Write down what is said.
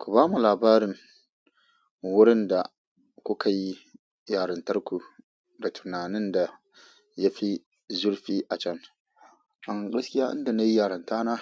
Ku bamu labarin wurin da kuka yi yarintarku da tunanin da yafi zurfi a can. Gaskiya inda nayi yaranta na,